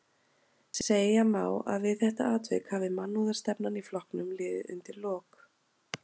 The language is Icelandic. Segja má að við þetta atvik hafi mannúðarstefnan í flokknum liðið undir lok.